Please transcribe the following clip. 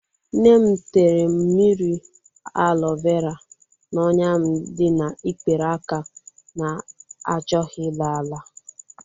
Nnem tere m mmiri alo vera n'ọnya dịm n'ikpere aka na-achọghi ala ala.